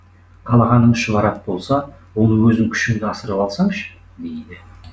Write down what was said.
қалағаның шұбар ат болса оны өзің күшіңді асырып алсаңшы дейді